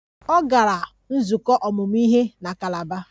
Ọ gara nzukọ ọmụmụ ihe na Kalaba